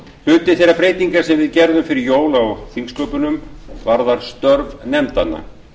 hluti þeirra breytinga sem við gerðum fyrir jól á þingsköpum varðar störf nefndanna